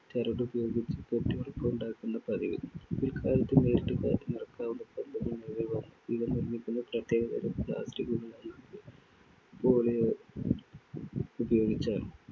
ചരടുപയോഗിച്ച് കെട്ടിയുറപ്പുണ്ടാക്കുകയായിരുന്നു പതിവ്. പിൽക്കാലത്ത് നേരിട്ട് കാറ്റ് നിറക്കാവുന്ന പന്തുകൾ നിലവിൽ വന്നു. ഇവ നിർമ്മിക്കുന്ന പ്രത്യേകതരം plastic കളോ poly യോ ഉപയോഗിച്ചാണ്.